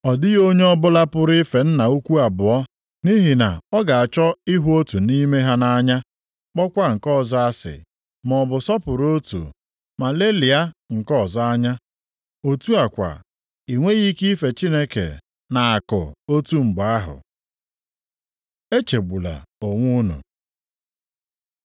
“Ọ dịghị onye ọbụla pụrụ ife nna ukwu abụọ, nʼihi na ọ ga-achọ ịhụ otu nʼime ha nʼanya, kpọkwa nke ọzọ asị, maọbụ sọpụrụ otu ma lelịa nke ọzọ anya. Otu a kwa i nweghị ike ife Chineke na akụ otu mgbe ahụ. Echegbula onwe unu